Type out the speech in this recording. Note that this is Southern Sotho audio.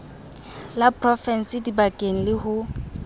la provinse dibankeng le ho